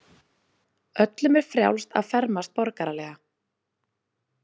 Öllum er frjálst að fermast borgaralega.